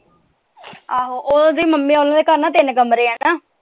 ਆਹੋ ਉਹਦੀ ਮੰਮੀ ਹੋਣਾ ਦੇ ਘਰ ਤਿੰਨ ਕਮਰੇ ਆ ਨਾ।